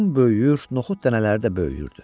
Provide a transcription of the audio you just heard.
Qın böyüyür, noxud dənələri də böyüyürdü.